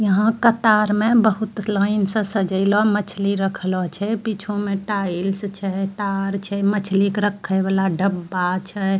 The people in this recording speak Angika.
यहाँ कतार में बहुत लाइन से सजायलो मछली रखलो छै पीछू टाइल्स छै तार छै मछली के रखे वाला डब्बा छै।